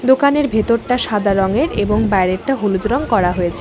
দোকানের ভেতরটা সাদা রঙের এবং বাইরেটা হলুদ রং করা হয়েছে।